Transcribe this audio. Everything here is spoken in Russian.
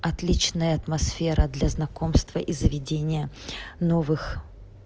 отличная атмосфера для знакомства и заведения новых